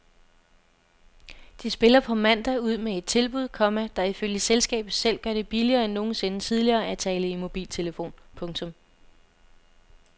De spiller på mandag ud med et tilbud, komma der ifølge selskabet selv gør det billigere end nogensinde tidligere at tale i mobiltelefon. punktum